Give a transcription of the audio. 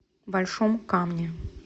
большом камне